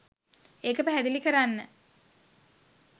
ඒක පැහැදිලි කරන්න